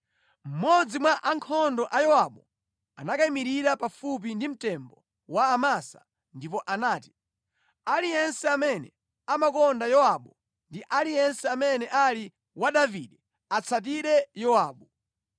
Mmodzi mwa ankhondo a Yowabu anakayimirira pafupi ndi mtembo wa Amasa ndipo anati, “Aliyense amene amakonda Yowabu ndi aliyense amene ali wa Davide, atsatire Yowabu!”